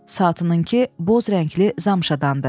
Saatınınkı boz rəngli zamşadandı.